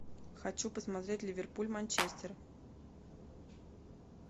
хочу посмотреть ливерпуль манчестер